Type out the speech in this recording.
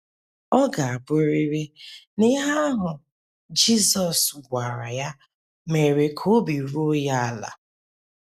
Ọ ga - abụrịrị na ihe ahụ Jizọs gwara ya mere ka obi ruo ya ala!